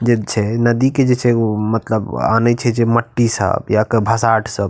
जिल छे नदी के जै छे वो मतलब आने छे मट्टी सब ये भाटास सब --